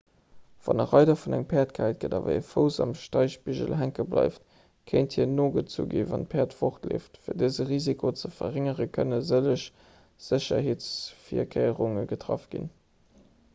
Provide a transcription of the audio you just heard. wann e reider vun engem päerd gehäit gëtt awer e fouss am steigbigel hänke bleift kéint hien nogezu ginn wann d'päerd fortleeft fir dëse risiko ze verréngeren kënne sëlleg sécherheetsvirkéierunge getraff ginn